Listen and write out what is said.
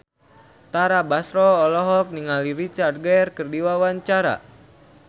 Tara Basro olohok ningali Richard Gere keur diwawancara